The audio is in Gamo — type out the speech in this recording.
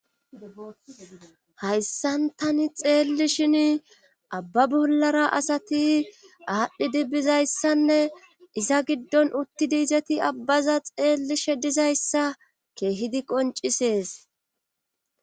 hayssan tani xeelli shin abba bollara asati aadhdhi dibbizayssanne iza giddon utti diizeti abbaza xeellishe dizayssa keehidi qoncisees